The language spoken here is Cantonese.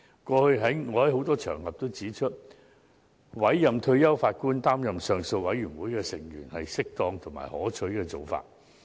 過去，我曾在許多場合指出，委任退休法官擔任上訴委員會的成員是適當及可取的做法。